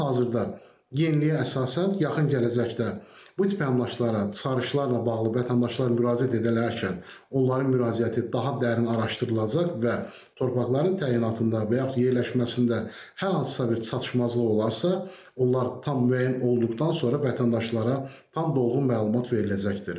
Hal-hazırda yeniliyə əsasən, yaxın gələcəkdə bu tip əmlaklara çıxarışlarla bağlı vətəndaşlar müraciət edərkən onların müraciəti daha dərin araşdırılacaq və torpaqların təyinatında, yaxud yerləşməsində hər hansısa bir çatışmazlıq olarsa, onlar tam müəyyən olunduqdan sonra vətəndaşlara tam dolğun məlumat veriləcəkdir.